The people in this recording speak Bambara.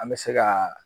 An bɛ se ka